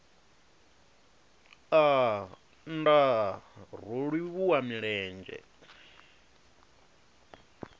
aa nndaa ro livhuwa milenzhe